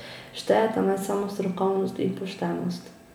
Štejeta naj samo strokovnost in poštenost.